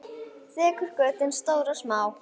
Þekur götin stór og smá.